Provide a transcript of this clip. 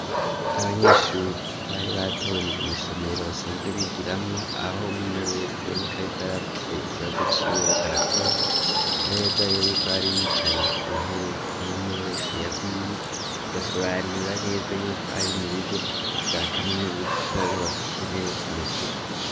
abanyeshuri bari batonze mw,isomero basanzwe bigiramwo aho umwe umwe wese aboneka ko yari afise ikibazo ciwe yariko arakora, neza yuko bari bicaye ku ntebe umwe umwe wese ya gwiwe bigasobanura neza yuko ari mu bigo vya kaminuza kuko ariho bafise intebe zimeze uko.